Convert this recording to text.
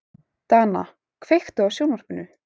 Dana, kveiktu á sjónvarpinu.